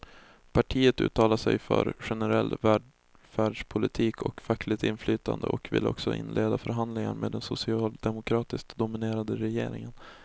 Partiet uttalar sig för generell välfärdspolitik och fackligt inflytande och vill också inleda förhandlingar med den socialdemokratiskt dominerade regeringen.